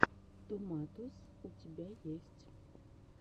томатос у тебя есть